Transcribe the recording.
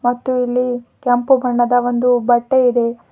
ಮತ್ತು ಇಲ್ಲಿ ಕೆಂಪು ಬಣ್ಣದ ಒಂದು ಬಟ್ಟೆ ಇದೆ.